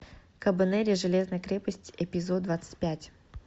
кабанери железной крепости эпизод двадцать пять